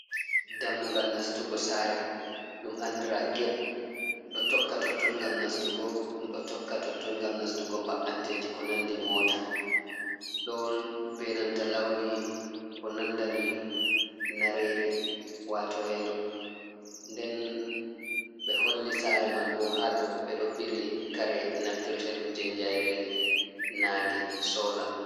Dammugal nastugo sare ɗum andira get. Ɗo tokka totton gam nastugo ɗum ɗo tokka totton gam nastugo mba’antedi, ko nandi mota, be nanta launi ko nandani nareri wato yelo. Nden ɓe holli sare man bo hadau ɓe ɗo bili kare naftirte ɗum jei jairi nange sola.